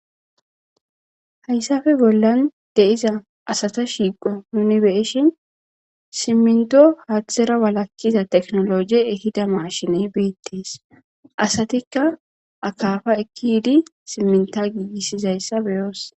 hayssafe bollan deiza asata shiiqo nuni beeshin simminto haathtera walakhkiza teknoloje ehida maashiney beettees asatikka akafa ekkidi simminta giigissizayssa beyoos